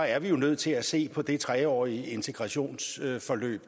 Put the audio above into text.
er vi jo nødt til at se på det tre årige integrationsforløb